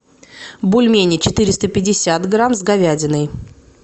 бульмени четыреста пятьдесят грамм с говядиной